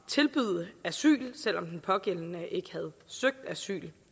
tilbyde asyl selv om den pågældende ikke havde søgt asyl